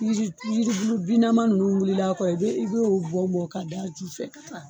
Yiliju yilijubulu bin nama ninnu wulila a kɔrɔ i bɛ i bo o bɔn bɔn ka da a ju fɛ.